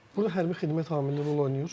Burda hərbi xidmət amili rol oynayır?